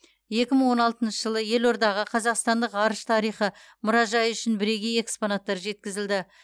екі мың он алтыншы жылы елордаға қазақстандық ғарыш тарихы мұражайы үшін бірегей экспонаттар жеткізілді